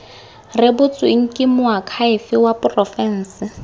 rebotsweng ke moakhaefe wa porofense